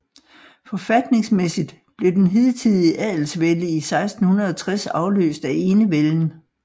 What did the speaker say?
Forfatningsmæssigt blev det hidtidige adelsvælde i 1660 afløst af enevælden